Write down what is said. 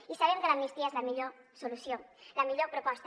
i sabem que l’amnistia és la millor solució la millor proposta